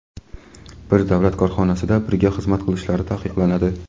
bir davlat korxonasida birga xizmat qilishlari taqiqlanadi.